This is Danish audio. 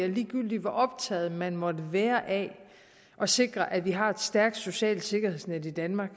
ligegyldigt hvor optaget man måtte være af at sikre at vi har et stærkt socialt sikkerhedsnet i danmark